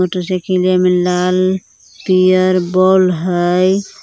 मोटरसाइकिलिया में लाल पियर बल्ब है।